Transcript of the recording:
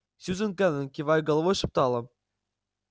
сьюзен кэлвин кивая головой шептала